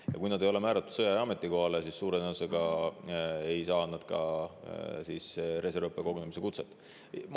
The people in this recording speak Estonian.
Ja kui nad ei ole määratud sõjaaja ametikohale, siis suure tõenäosusega ei saan nad ka reservõppekogunemise kutset.